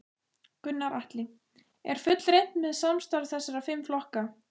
Gunnar Atli: Er fullreynt með samstarf þessara fimm flokka?